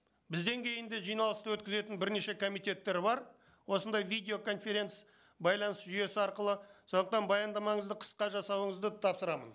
бізден кейін де жиналысты өткізетін бірнеше комитеттер бар осындай видео байланыс жүйесі арқылы сондықтан баяндамаңызды қысқа жасауыңызды тапсырамын